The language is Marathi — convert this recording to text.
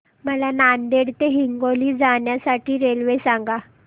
मला नांदेड ते हिंगोली जाण्या साठी रेल्वे सांगा